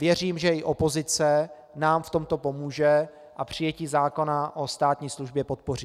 Věřím, že i opozice nám v tomto pomůže a přijetí zákona o státní službě podpoří.